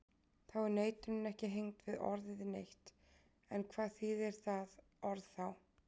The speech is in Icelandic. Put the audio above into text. Þá er neitunin ekki hengd við orðið neitt, en hvað þýðir það orð þá?